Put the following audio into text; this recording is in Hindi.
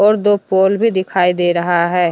और दो पोल भी दिखाई दे रहा है।